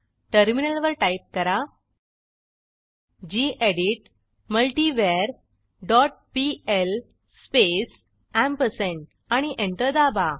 टर्मिनलवर टाईप करा gedit multiver dot PL space ampersand आणि एंटर दाबा